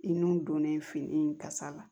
I nun donnen fini kasa la